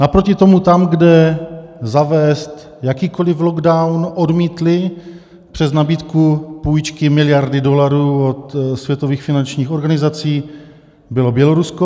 Naproti tomu tam, kde zavést jakýkoliv lockdown odmítli přes nabídku půjčky miliardy dolarů od světových finančních organizací, bylo Bělorusko.